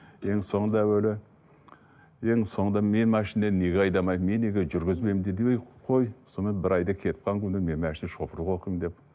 енді соңында әуелі енді соңында мен машина неге айдамаймын мен неге жүргізбеймін деді ей қой сонымен бір айдай кетіп қалған мен машина шопырды оқимын деп